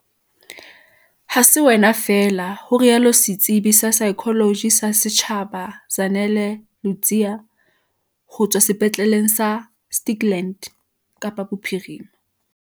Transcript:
"Ha se wena feela," ho rialo setsebi sa saekholoji sa setjhaba Zanele Ludziya ho tswa Sepetleleng sa Stikland, Kapa Bophirima.